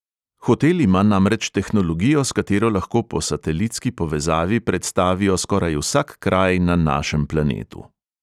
Hotel ima namreč tehnologijo, s katero lahko po satelitski povezavi predstavijo skoraj vsak kraj na našem planetu.